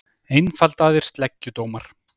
Einfaldaðir sleggjudómar